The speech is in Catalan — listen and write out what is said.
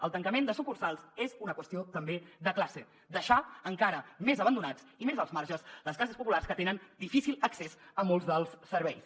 el tancament de sucursals és una qüestió també de classe deixar encara més abandonats i més als marges les classes populars que tenen difícil accés a molts dels serveis